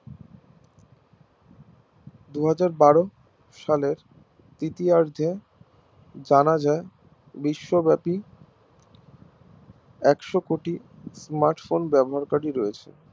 দুহাজার বারো সালের তৃতীয়ার্ধে জানা যায় বিশ্ব ব্যাপী একশো কোটি Smartphone ব্যবহারকারি রয়েছে